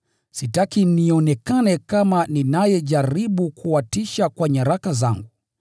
Sitaki nionekane kama ninayejaribu kuwatisha kwa nyaraka zangu.